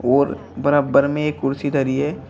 और बराब्बर में एक कुर्सी धरी है।